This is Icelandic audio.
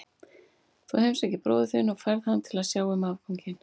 Þú heimsækir bróður þinn og færð hann til að sjá um afganginn.